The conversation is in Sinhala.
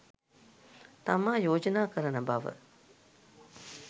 තමා යෝජනා කරන බව